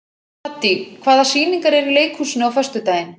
Haddý, hvaða sýningar eru í leikhúsinu á föstudaginn?